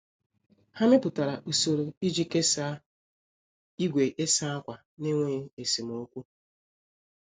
Ha mepụtara usoro iji kesaa igwe ịsa akwa n'enweghị esemokwu.